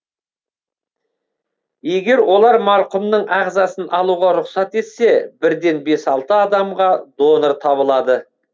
егер олар марқұмның ағзасын алуға рұқсат етсе бірден бес алты адамға донор табылады